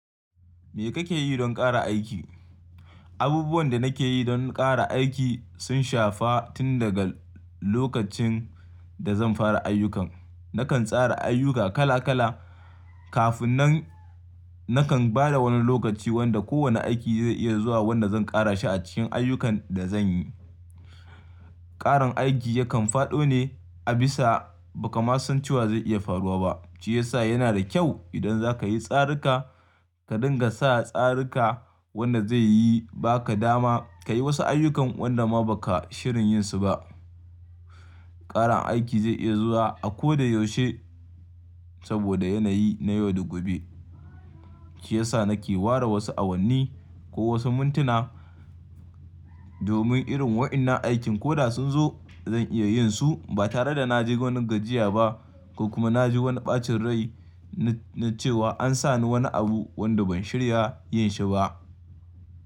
Me kake yi don ƙara aiki? Abubuwan da nake yi don ƙara aiki sun shafa tun daga lokacin da zan fara ayyukan. Nakan tsara ayyuka kala kala kafin nan nakan ba da wani lokaci wanda kowane aiki zai iya zuwa wanda zan ƙara shi a cikin ayyukan da zan yi. Ƙaran aiki yakan faɗo ne a bisa ba ka masun cewa zai iya faruwa ba, shi yasa yana da kyau idan za ka yi tsararka ka dinga sa tsararka wanda zai yi ba ka dama ka yi wasu ayyukan wanda ma ba ka shirin yin su ba. Ƙaran aiki zai iya zuwa a ko da yaushe saboda yanayi na yau da gobe. Shi yasa nake ware wasu awanni ko wasu mintuna domin irin waɗannan aikin koɗa sun zo zan iya yin su ba tare da na je wani gajiya ba ko kuma na ji wani ɓacin rai na cewa an sa ni wani abu wanda ban shirya yin shi ba.